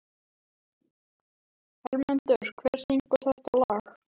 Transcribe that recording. Hermundur, hver syngur þetta lag?